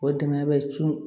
O dingɛ bɛ cun